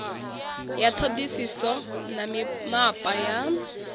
ya ṱhoḓisiso na mimapa ya